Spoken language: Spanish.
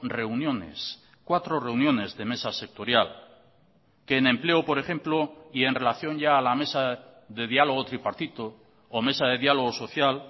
reuniones cuatro reuniones de mesa sectorial que en empleo por ejemplo y en relación ya a la mesa de diálogo tripartito o mesa de diálogo social